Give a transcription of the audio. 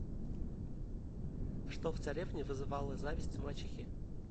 что в царевне вызывало зависть мачехи